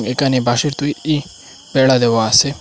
এখানে বাঁশের তৈরি বেড়া দেওয়া আসে।